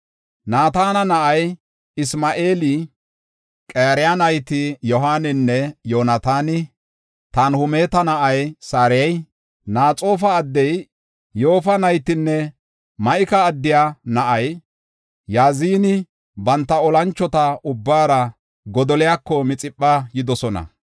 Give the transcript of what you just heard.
Naatana na7ay Isma7eeli, Qareya nayti Yohaaninne Yoonataani, Tanhumeta na7ay Sarayi, Naxoofa addiya Yoofa naytinne Ma7ika addiya na7ay Yazaani banta olanchota ubbaara Godoliyako Mixipha yidosona.